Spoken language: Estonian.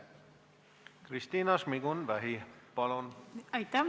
Kristina Šmigun-Vähi, palun!